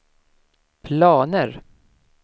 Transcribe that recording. planer